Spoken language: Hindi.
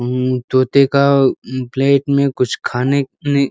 उम तोते का उम पलेट में कुछ खाने ने --